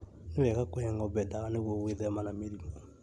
Nĩ wega kũhe ng'ombe dawa nĩguo gwĩthema na mĩrimũ